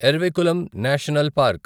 Eravikulam national park